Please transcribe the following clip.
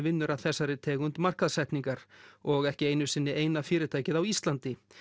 vinnur að þessari tegund og ekki einu sinni eina fyrirtækið á Íslandi